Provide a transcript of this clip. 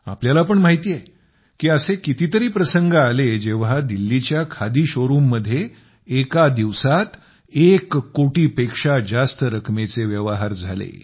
आपल्याला पण माहिती आहे की असे कितीतरी प्रसंग आले जेव्हा दिल्लीच्या खादी शोरुम मध्ये एका दिवसात एक कोटीपेक्षा जास्त रकमेचे व्यवहार झाले